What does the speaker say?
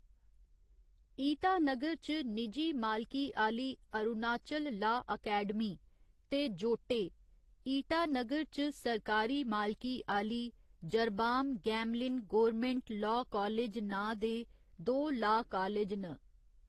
ईटानगर च निजी मालकी आह्‌ली अरुणाचल ला अकैडमी ते जोटे, ईटानगर च सरकारी मालकी आह्‌ली Jarbom Gamlin government law college नांऽ दे दो ला कालज न।